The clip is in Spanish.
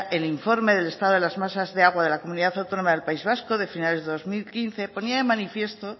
el informe de estado de las masas de agua de la comunidad autónoma del país vasco de finales de dos mil quince ponía de manifiesto